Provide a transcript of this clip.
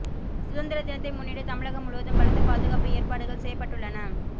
சுதந்திர தினத்தை முன்னிட்டு தமிழகம் முழுவதும் பலத்த பாதுகாப்பு ஏற்பாடுகள் செய்யப்பட்டுள்ளன